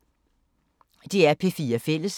DR P4 Fælles